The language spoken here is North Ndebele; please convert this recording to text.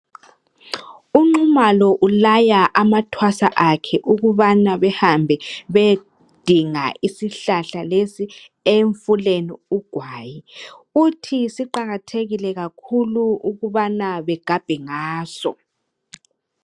UNxumalo ulaya amathwasa akhe ukuba beyedinga isihlahla lesi emfuleni ugwayi. Uthi siqakathekile kakhulu ukubana begabhe ngaso.